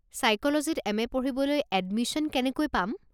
ছাইক'লজীত M A. পঢ়িবলৈ admission কেনেকৈ পাম?